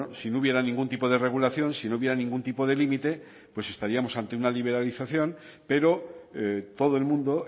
si no hubiera ningún tipo de regulación si no hubiera ningún tipo de límite pues estaríamos ante una liberalización pero todo el mundo